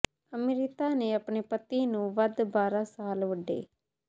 ਅੰਮ੍ਰਿਤਾ ਨੇ ਆਪਣੇ ਪਤੀ ਨੂੰ ਵੱਧ ਬਾਰ੍ਹਾ ਸਾਲ ਵੱਡੇ